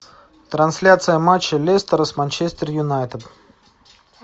трансляция матча лестер с манчестер юнайтед